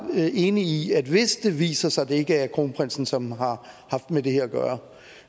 enig i at hvis det viser sig at det ikke er kronprinsen som har haft med det her at gøre